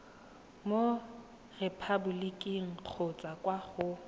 mo repaboliking kgotsa kwa go